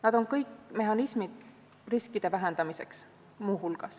Need kõik on mehhanismid riskide vähendamiseks.